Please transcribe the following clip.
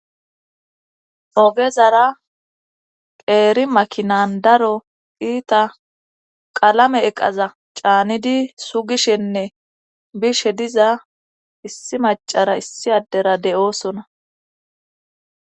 ogezara qeeri makinan daro iita qalame eqaza caanidi sugishenne bishe diza issi macara issi addera de7oosona